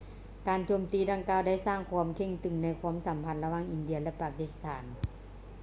ການໂຈມຕີດັ່ງກ່າວໄດ້ສ້າງຄວາມເຄັ່ງຕຶງໃນຄວາມສຳພັນລະຫວ່າງອິນເດຍ ແລະ ປາກິສຖານ